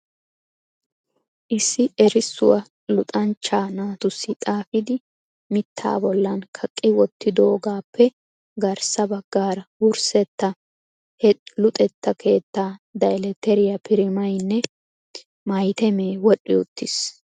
Issi erissuwaa luxanchcha naatussi xaafidi mittaa bollan kaqqi wottidoogappe garssa baggaara wursseta he luxetta keetta Deletteriya primaynne mahitemme wodhdhi uttiis.